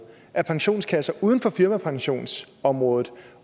at pensionskasser uden for firmapensionsområdet